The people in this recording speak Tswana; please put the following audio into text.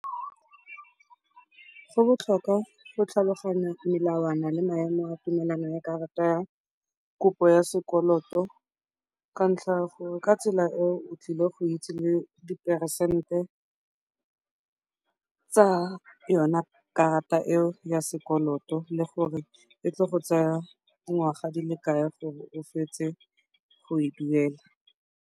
Go botlhokwa go tlhaloganya melawana le maemo a tumelano ya karata ya kopo ya sekoloto ka ntlha gore ka tsela eo o tlile go itse le diperesente tsa yone karata eo ya sekoloto le gore e tlile go tsaya dingwaga di le kae gore o fetse go e duela.